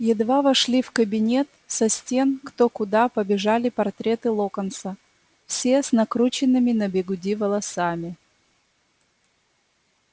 едва вошли в кабинет со стен кто куда побежали портреты локонса все с накрученными на бигуди волосами